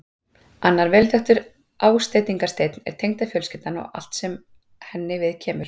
Annar vel þekktur ásteytingarsteinn er tengdafjölskyldan og allt sem henni viðkemur.